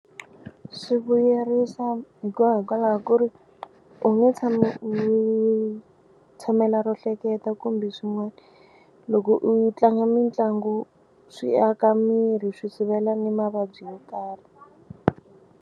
Swi vuyerisa hikuva hikwalaho ku ri u nge tshami u tshamela ro hleketa kumbe swin'wana loko u tlanga mitlangu swi aka miri swi sivela na mavabyi yo karhi.